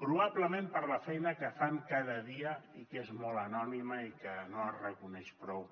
probablement per la feina que fan cada dia i que és molt anònima i que no es reconeix prou